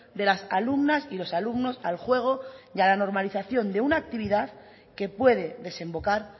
de las alumnas y los alumnos al juego y a la normalización de una actividad que puede desembocar